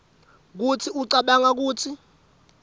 kutsi ucabanga kutsi